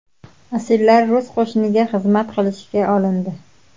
Asirlar rus qo‘shiniga xizmat qilishga olindi.